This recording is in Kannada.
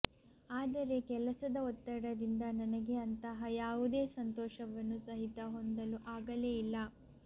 ಆದರೆ ಕೆಲಸದ ಒತ್ತಡದಿಂದ ನನಗೆ ಅಂತಹ ಯಾವುದೇ ಸಂತೋಷವನ್ನು ಸಹಿತ ಹೊಂದಲು ಆಗಲೇ ಇಲ್ಲ